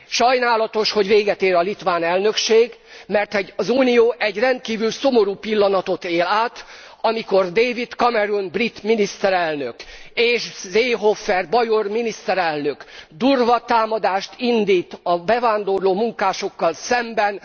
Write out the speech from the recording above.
Sajnálatos, hogy véget ér a litván elnökség, mert az unió egy rendkívül szomorú pillanatot él át, amikor David Cameron brit miniszterelnök és Seehofer bajor miniszterelnök durva támadást indít a bevándorló munkásokkal szemben.